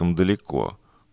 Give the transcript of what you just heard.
далеко